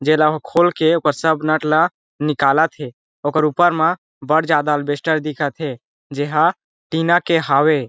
जे ला हो खोल के ओकर सब नट ला निकालथे ओकर ऊपर मा बहुत ज्यादा अलबेस्टर दिखत हे जे ह टीना के हावे ।